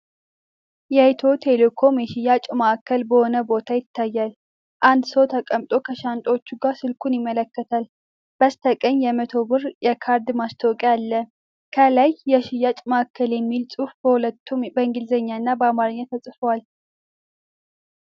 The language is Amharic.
የኢትዮ ቴሌኮም የሽያጭ ማዕከል በሆነ ቦታ ይታያል። አንድ ሰው ተቀምጦ ከሻንጣዎች ጋር ስልኩን ይመለከታል፤ በስተቀኝ የ100 ብር የካርድ ማስታወቂያ አለ። ከላይ "የሽያጭ ማዕከል" የሚል ጽሑፍ በሁለቱም በእንግሊዝኛና በአማርኛ ተጽፏል።